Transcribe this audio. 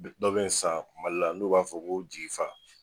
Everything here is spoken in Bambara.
Be dɔ bɛ san Mali la n'u b'a fɔ ko jigi fa